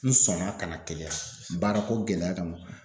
N sɔnna ka na Keleya baarako gɛlɛya kama.